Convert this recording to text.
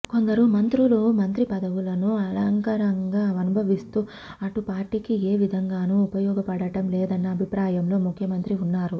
కొందరు మంత్రులు మంత్రి పదవులను అలంకారంగా అనుభవిస్తూ అటు పార్టీకి ఏ విధంగాను ఉపయోగపడటం లేదన్న అభిప్రాయంలో ముఖ్యమంత్రి ఉన్నారు